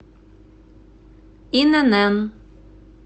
инн